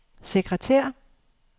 sekretær